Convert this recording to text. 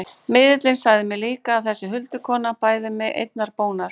Miðillinn sagði mér líka að þessi huldukona bæði mig einnar bónar.